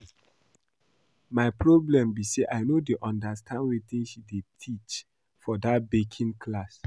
My problem be say I no dey understand wetin she dey teach for dat baking class